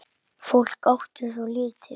Fólk átti svo lítið.